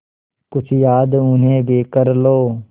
कुछ याद उन्हें भी कर लो